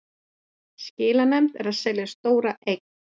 Skilanefnd að selja stóra eign